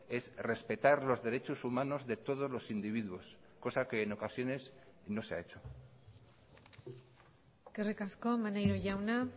es respetar los derechos humanos de todos los individuos cosa que en ocasiones no se ha hecho eskerrik asko maneiro jauna